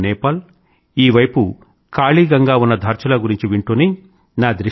ఆ వైపున నేపాల్ అటు వైపు కాలీ గంగా ఉన్న ధార్చులా గురించి వింటూనే